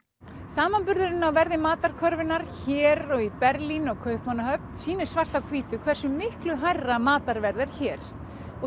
samanburðurinn á verði matarkörfunnar hér og í Berlín og Kaupmannahöfn sýnir svart á hvítu hversu miklu hærra matarverð er hér og